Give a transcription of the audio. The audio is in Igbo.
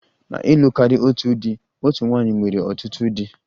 Na ịlụ karịa otu di, otu nwanyị nwere ọtụtụ di